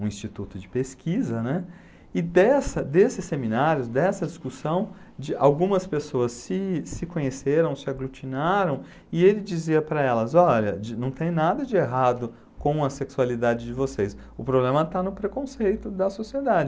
um instituto de pesquisa, né, e dessa desses seminários, dessa discussão, de algumas pessoas se conheceram, se aglutinaram, e ele dizia para elas, olha, não tem nada de errado com a sexualidade de vocês, o problema está no preconceito da sociedade.